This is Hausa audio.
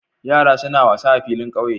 Yara suna wasa a filin ƙauye.